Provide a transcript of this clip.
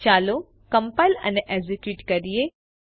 ચાલો કમ્પાઈલ અને એકઝીક્યુટ કરીએ